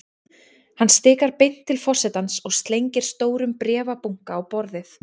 Hann stikar beint inn til forsetans og slengir stórum bréfabunka á borðið.